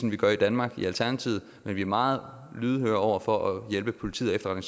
man gør i danmark men vi er meget lydhøre over for at hjælpe politiet og